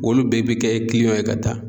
Olu bɛɛ bi kɛ kiliyanw ye ka taa